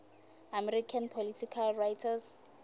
american political writers